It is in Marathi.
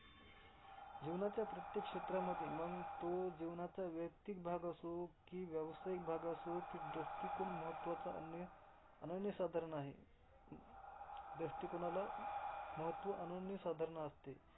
जीवनाच्या प्रत्येक क्षेत्रामध्ये मंग तो जीवनाचा वैयक्तिक भाग असो, कि व्यावसायिक भाग असो, की दृष्टीकोन महत्त्वाचा अन्य अनन्यसाधारण आहे. दृष्टीकोनाला महत्त्व अनन्यसाधारण असते.